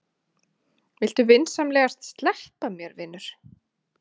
Viltu vinsamlegast sleppa mér, vinur!